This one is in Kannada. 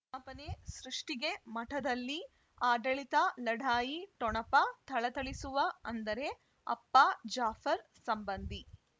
ವಿಜ್ಞಾಪನೆ ಸೃಷ್ಟಿಗೆ ಮಠದಲ್ಲಿ ಆಡಳಿತ ಲಢಾಯಿ ಠೊಣಪ ಥಳಥಳಿಸುವ ಅಂದರೆ ಅಪ್ಪ ಜಾಫರ್ ಸಂಬಂಧಿ